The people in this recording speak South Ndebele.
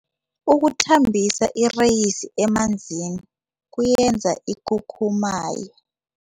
Ukuthambisa ireyisi emanzini kuyenza ikhukhumaye.